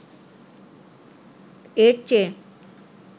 এর চেয়ে